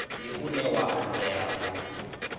ndi une wa anzela u